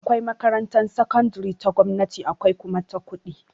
Akwai makarantar sakandire ta gwamnati akwai kuma ta kuɗi